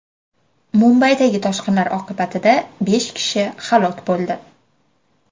Mumbaidagi toshqinlar oqibatida besh kishi halok bo‘ldi.